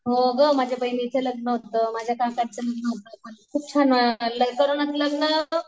हो गं माझ्या बहिणीचं लग्न होतं. माझ्या काकाचं लग्न होतं. खूप छान कोरोनात लग्न